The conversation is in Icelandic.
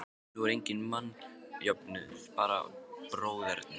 Nú er enginn mannjöfnuður, bara bróðerni.